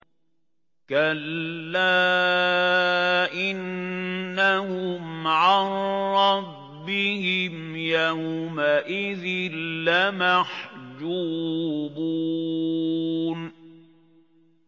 كَلَّا إِنَّهُمْ عَن رَّبِّهِمْ يَوْمَئِذٍ لَّمَحْجُوبُونَ